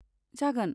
जागोन!